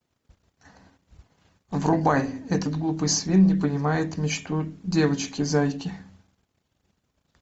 врубай этот глупый свин не понимает мечту девочки зайки